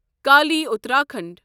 Kali Uttarakhand